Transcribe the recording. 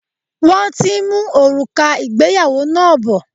Wọ́n ti ń mú òrùka ìgbéyàwó náà bọ̀.